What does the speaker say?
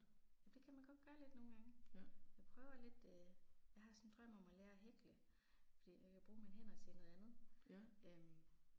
Det kan man godt gøre lidt nogle gange. Jeg prøver lidt øh. Jeg har sådan en drøm om at lære at hækle, fordi jeg kan bruge mine hænder til noget andet øh